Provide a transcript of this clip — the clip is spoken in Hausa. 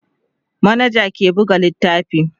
manaja ke buga littafi